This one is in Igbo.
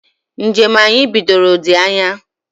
Njem anyị bidoro dị anya